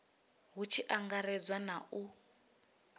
hu tshi angaredzwa na u